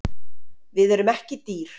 Við erum ekki dýr